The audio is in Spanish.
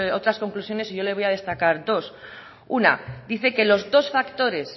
otras conclusiones y yo le voy a destacar dos una dice que los dos factores